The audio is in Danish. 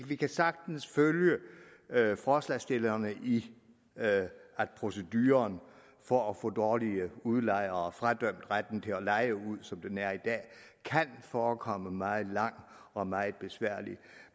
vi kan sagtens følge forslagsstillerne i at proceduren for at få dårlige udlejere fradømt retten til at leje ud som den er i dag kan forekomme meget lang og meget besværlig